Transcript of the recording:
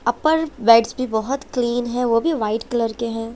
अपर भी बहुत क्लीन है वो भी वाईट कलर के है।